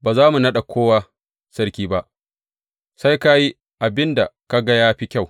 Ba za mu naɗa kowa sarki ba; sai ka yi abin da ka ga ya fi kyau.